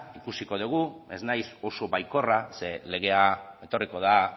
ikusiko dugu ez naiz oso baikorra zer legea etorriko da